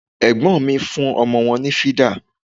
Ẹ̀gbọ́n mi fún ọmọ wọn ní fídà